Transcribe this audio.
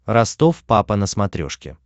ростов папа на смотрешке